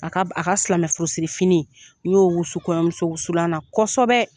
A ka a ka silamɛ furusiri fini n y'o wusu kɔɲɔ muso wusulan na kosɛbɛ.